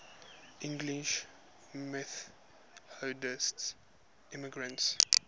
english methodist immigrants